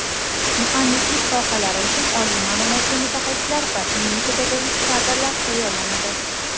muhandislik sohalari uchun oliy ma’lumotli mutaxassislar va ilmiy-pedagogik kadrlar tayyorlanadi.